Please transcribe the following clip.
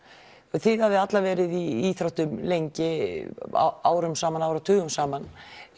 þið hafið allar verið í íþróttum lengi árum saman áratugum saman